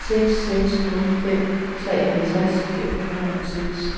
seks seks nul fem treoghalvtreds fem hundrede og seks